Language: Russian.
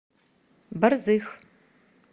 борзых